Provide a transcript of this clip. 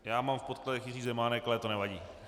Já mám v podkladech Jiří Zemánek, ale to nevadí.